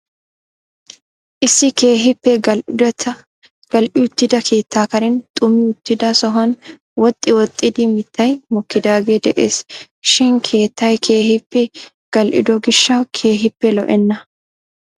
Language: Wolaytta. issi keehippe gal''i uttida keetta karen xumi uttida sohuwan woxxi woxxidi mittay mokkidaage de'ees shin keettay keehippe gel''ido gishshaw keehippe lo''ena.